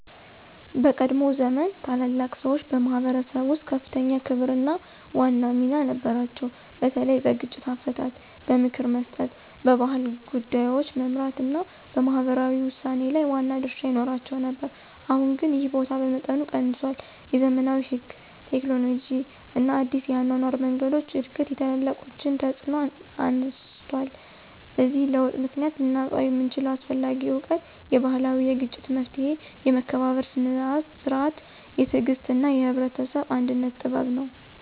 በቀድሞ ዘመን ታላላቅ ሰዎች በማኅበረሰብ ውስጥ ከፍተኛ ክብርና ዋና ሚና ነበራቸው፤ በተለይ በግጭት አፈታት፣ በምክር መስጠት፣ በባህል ጉዳዮች መመራት እና በማህበራዊ ውሳኔ ላይ ዋና ድርሻ ይኖራቸው ነበር። አሁን ግን ይህ ቦታ በመጠኑ ቀንሷል፤ የዘመናዊ ሕግ፣ ቴክኖሎጂ እና አዲስ የአኗኗር መንገዶች እድገት የታላቆችን ተፅዕኖ አነስቷል። በዚህ ለውጥ ምክንያት ልናጣው የምንችለው አስፈላጊ እውቀት የባህላዊ የግጭት መፍትሔ፣ የመከባበር ሥርዓት፣ የትዕግሥት እና የህብረተሰብ አንድነት ጥበብ ነው።